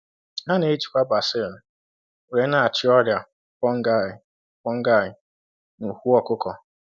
A na-ejikwa basil were na-achị ọrịa fungi fungi n’ụkwụ ọkụkọ